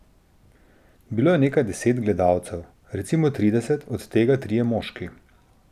Bilo je nekaj deset gledalcev, recimo trideset, od tega trije moški.